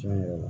Tiɲɛ yɛrɛ la